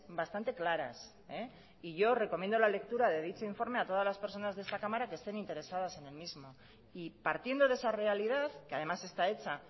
bastante claras y yo recomiendo la lectura de dicho informe a todas las personas de esta cámara que estén interesadas en el mismo y partiendo de esa realidad que además está hecha